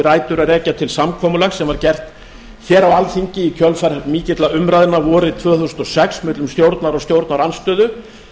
rætur að rekja til samkomulags sem var gert hér á alþingi í kjölfar mikilla umræðna vorið tvö þúsund og sex millum stjórnar og stjórnarandstöðu